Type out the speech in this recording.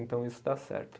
Então isso dá certo.